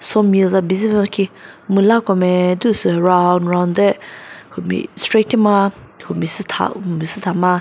saw mill za bizü püh khi mülako meh diu sü round round deh humi straight shima humi sütha humi süthama.